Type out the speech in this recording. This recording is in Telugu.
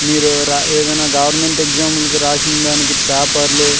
మీరు అమియానా గోవేర్నమేంట్ ఎక్సమ్ రాసినదానికి పేపర్లు.